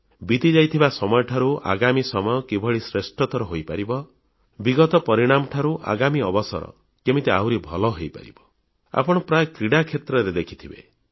ବିତିଯାଇଥିବା ସମୟ ଠାରୁ ଆଗାମୀ ସମୟ କିଭଳି ଶ୍ରେଷ୍ଠତର ହୋଇପାରିବ ବିଗତ ପରିଣାମ ଠାରୁ ଆଗାମୀ ଅବସର କେମିତି ଆହୁରି ଭଲ ହୋଇପାରିବ ଆପଣ ପ୍ରାୟତଃ କ୍ରୀଡ଼ାକ୍ଷେତ୍ରରେ ଦେଖିଥିବେ